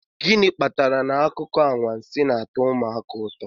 gịnị kpatara na akụkọ anwansi na-atọ ụmụaka ụtọ